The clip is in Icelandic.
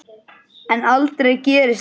En aldrei gerist það.